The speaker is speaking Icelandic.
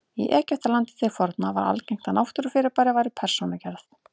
Í Egyptalandi til forna var algengt að náttúrufyrirbæri væru persónugerð.